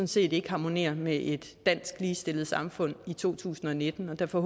set ikke harmonerer med et dansk ligestillet samfund i to tusind og nitten derfor